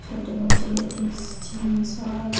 छोटे बच्चे ladies gents औरत --